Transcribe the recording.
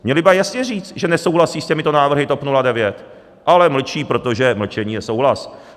Měli by jasně říct, že nesouhlasí s těmito návrhy TOP 09, ale mlčí, protože mlčení je souhlas.